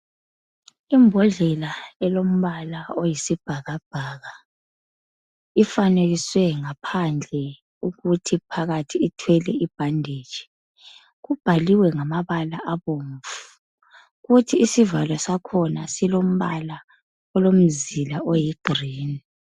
Imbodlela elombala oyisibhakabhaka ,ifanekiswe ngaphandle ukuthi phakathi ithwele ibhanditshi .Ibhaliwe ngamabala abomvu ,kuthi isivalo sakhona silombala olomzila oyi green.